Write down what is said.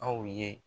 Aw ye